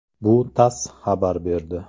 Bu “TASS” xabar berdi .